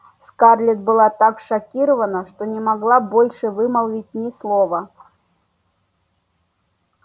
скарлетт была так шокирована что не могла больше вымолвить ни слова